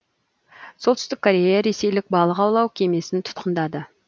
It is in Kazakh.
солтүстік корея ресейлік балық аулау кемесін тұтқындады